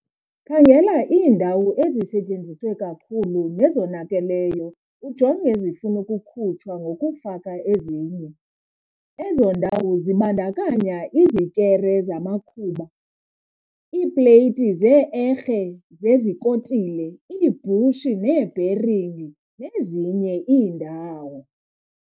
Khangela iindawo ezisetyenziswe kakhulu nezonakaleyo ujonge ezifuna ukukhutshwa ngokufaka ezinye. Ezo ndawo zibandakanya izikere zamakhuba iipleyiti zee-erhe zezikotile, iibhushi neebheringi nezinye iindawo.